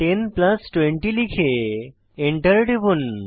10 plus 20 লিখে Enter টিপুন